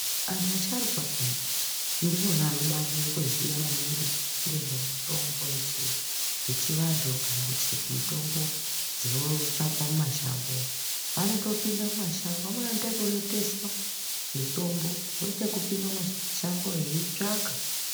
Anhu asharukwa peyani ndiwo anoba aziya maningi nezvemitombo yechiwanhu kana mitombo dzinotsvakwa mumashango, wanotopinda mumashango, wamweni wanoita ekuroteswa mitombo, wanoita ekupinda mumashango eitsvaka.